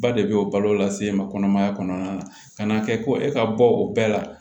Ba de bɛ o balo lase ma kɔnɔmaya kɔnɔna na ka n'a kɛ ko e ka bɔ o bɛɛ la